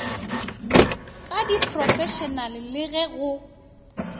ka diphrofešenale le ge go